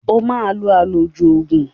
O máa lo àlòjù oògùn